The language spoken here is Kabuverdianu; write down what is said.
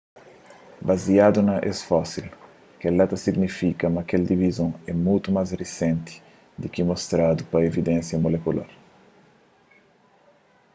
baziadu na es fósil kel-la ta signifika ma kel divizon é mutu más risenti di ki mostradu pa evidénsia mulekular